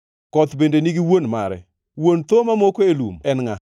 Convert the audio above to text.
Koth bende nigi wuon mare? Wuon thoo mamoko e lum en ngʼa?